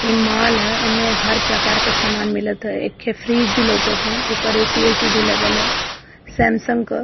ई mall ह। एमे हर प्रकार क समान मिलत ह। एके फ्रिज भी लौकत ह। ऊपर एसी एसी भी लगल ह सैमसंग क --